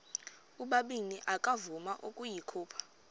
ubabini akavuma ukuyikhupha